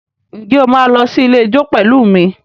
Ǹjẹ́ o máa lọ sí ilé ijó pẹ̀lú mi?